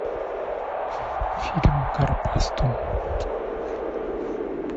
фильм гарпастум